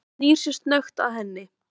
Hann snýr sér snöggt að henni.